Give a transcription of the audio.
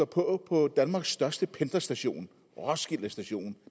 på på danmarks største pendlerstation roskilde station